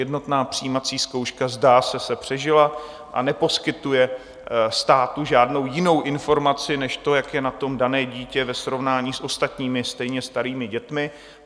Jednotná přijímací zkouška, zdá se, se přežila a neposkytuje státu žádnou jinou informaci než to, jak je na tom dané dítě ve srovnání s ostatními stejně starými dětmi.